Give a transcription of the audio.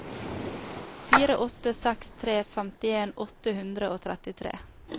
fire åtte seks tre femtien åtte hundre og trettitre